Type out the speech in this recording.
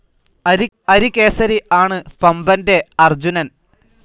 അരികേസരി ആണ് പംപൻറെ അർജുനൻ.